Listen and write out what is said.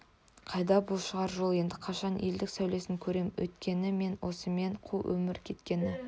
қайда бұл шығар жол енді қашан елдік сәулесін көрем өткені ме осымен қу өмір кеткені